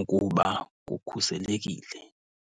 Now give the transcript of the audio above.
ukuba kukhuselekile.